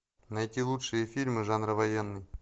найти лучшие фильмы жанра военный